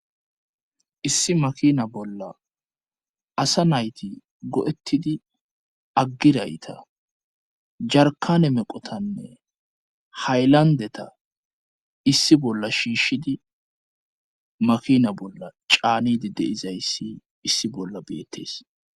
issi makina bolla asa nayti go7ettidi aggirayta jarkane meqotanne haylandeta issi bolla shiishshidi makina bolla caanidi deizayssi issi bolla beettees